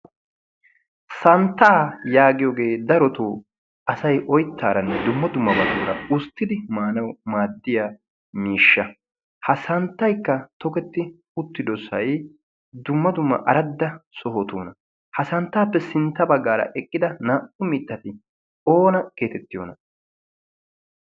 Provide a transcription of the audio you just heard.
Santtaa yaagiyogee darotoo asay oyttaaranne dumma dummabaara usttidi maanawu maaddiya miishsha. Ha santtaykka toketti uttidosay dumma dumma aradda sohotuuna. Ha santtaappe sintta baggaara eqqida naa"u mittati oona geetettiyon?